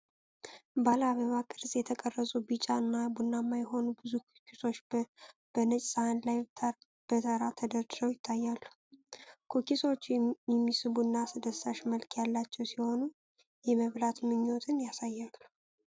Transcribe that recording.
ባለ አበባ ቅርጽ የተቀረጹ ቢጫ እና ቡናማ የሆኑ ብዙ ኩኪሶች በነጭ ሳህን ላይ በተራ ተደርድረው ይታያሉ። ኩኪሶቹ የሚስቡና አስደሳች መልክ ያላቸው ሲሆኑ፣ የመብላት ምኞትን ያሳያሉ።